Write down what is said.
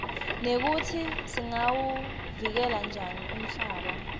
nekutsi singawuvikela njani umhlaba